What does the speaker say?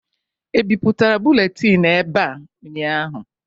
E bipụtara buletin ebe a ụnyaahụ?